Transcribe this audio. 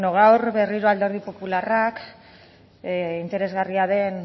gaur berriro alderdi popularrak interesgarria den